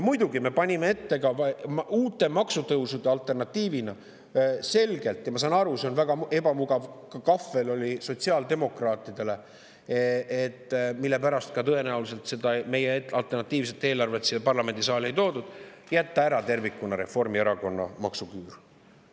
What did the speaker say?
Muidugi me panime selgelt ette ka uute maksutõusude alternatiivina selle – ma saan aru, et see on väga ebamugav kahvel sotsiaaldemokraatidele, mille pärast tõenäoliselt meie alternatiivset eelarvet siia parlamendisaali ei toodud –, et jätta ära Reformierakonna maksuküür tervikuna.